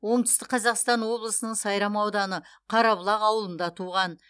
оңтүстік қазақстан облысының сайрам ауданы қарабұлақ ауылында туған